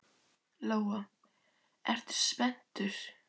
Lóa: Ertu spenntur?